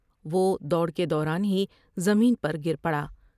وہ دوڑ کے دوران ہی زمین پر گر پڑا ۔